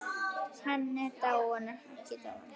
Hann er ekki dáinn.